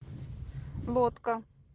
лодка